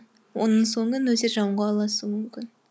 оның соңы нөсер жауынға ұласуы мүмкін